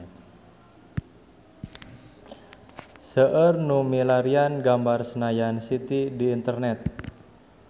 Seueur nu milarian gambar Senayan City di internet